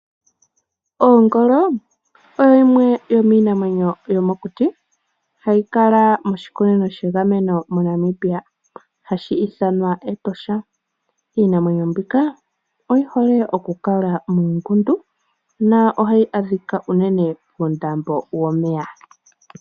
Ongolo oyimwe yominamwenyo yomokuti hayi kala moshikunino shegameno moNamibia hashi ithanwa etosha. Iinamwenyo mbika oyi hole oku kala muungundu ohayi adhika unene puundabo womeya.